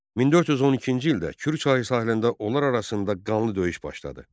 1412-ci ildə Kür çayı sahilində onlar arasında qanlı döyüş başladı.